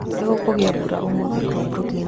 nĩ gũkugĩa mbura ũmũthĩ kũu Brooklyn, New York